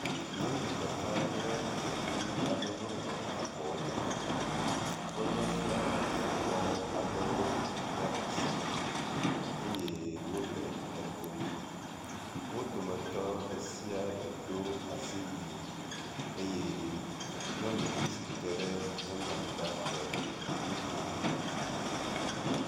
Nyɔnu ɖeka kple ɖevi aɖewo le abɔ me. wo le falwa nyakpɔ ɖe asi eye wo le edom. Wo dometɔ ɖe sia ɖe do asiwui eye nyɔnuvi si te ɖe nyɔnua ŋu la le nu kom.